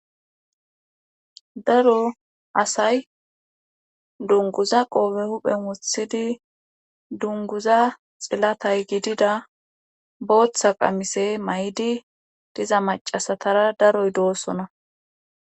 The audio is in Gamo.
daro asay dunguza qoobe huphen wothidi dunguza xillatay gidida booththa qamise may7di diza macasatara daroy doossona